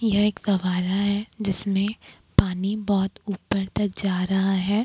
यह एक फवारा है जिसमें पानी बहोत ऊपर तक जा रहा हैं।